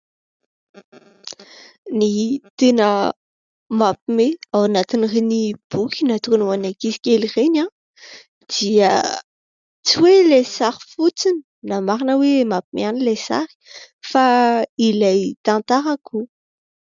Ny tena mampime ao anatiny ireny boky natokany ho an ankizy kely ireny dia tsy hoe ilay sary fotsiny, na marina hoe mampime ihany ilay sary fa ilay tantarako.